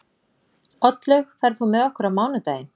Oddlaug, ferð þú með okkur á mánudaginn?